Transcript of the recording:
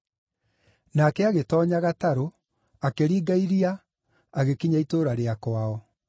Nake agĩtoonya gatarũ, akĩringa iria, agĩkinya itũũra rĩa kwao.